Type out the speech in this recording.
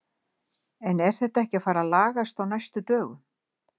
En þetta er ekki að fara að lagast á næstu dögum.